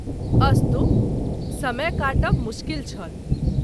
अस्तु समय काटब मुश्किल छल।